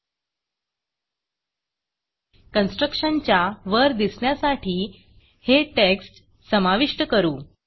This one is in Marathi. constructionकन्स्ट्रक्टशन च्या वर दिसण्यासाठी हे टेक्स्ट समाविष्ट करू